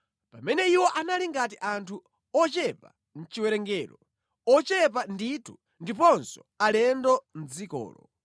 Pamene iwo anali ngati anthu ochepa mʼchiwerengero, ochepa ndithu, ndiponso alendo mʼdzikolo,